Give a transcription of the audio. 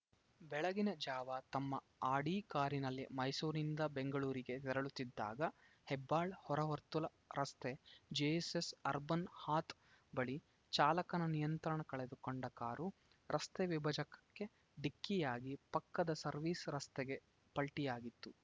ಬೆಳಗಿನ ಜಾವ ತಮ್ಮ ಆಡಿ ಕಾರಿನಲ್ಲಿ ಮೈಸೂರಿನಿಂದ ಬೆಂಗಳೂರಿಗೆ ತೆರಳುತ್ತಿದ್ದಾಗ ಹೆಬ್ಬಾಳ್‌ ಹೊರವರ್ತುಲ ರಸ್ತೆ ಜೆಎಸ್‌ಎಸ್‌ ಅರ್ಬನ್‌ ಹಾತ್‌ ಬಳಿ ಚಾಲಕನ ನಿಯಂತ್ರಣ ಕಳೆದುಕೊಂಡ ಕಾರು ರಸ್ತೆ ವಿಭಜಕ ಕ್ಕೆ ಡಿಕ್ಕಿಯಾಗಿ ಪಕ್ಕದ ಸರ್ವಿಸ್‌ ರಸ್ತೆಗೆ ಪಲ್ಟಿಯಾಗಿತ್ತು